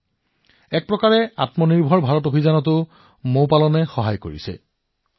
অৰ্থাৎ এক প্ৰকাৰে আত্মনিৰ্ভৰকাৰী ভাৰত অভিযানত সহায় কৰি আছে